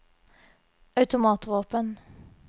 automatvåpen